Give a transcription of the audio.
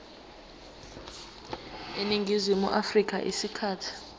eningizimu afrika isikhathi